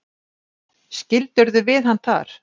Skildirðu við hann þar?